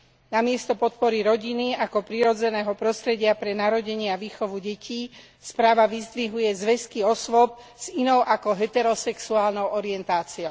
Namiesto podpory rodiny ako prirodzeného prostredia pre narodenie a výchovu detí správa vyzdvihuje zväzky osôb s inou ako heterosexuálnou orientáciou.